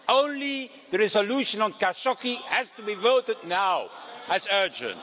Only the resolution on Khashoggi has to be voted on now as urgent.